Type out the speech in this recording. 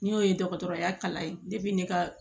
N'o ye dɔgɔtɔrɔya kalan ye ne ka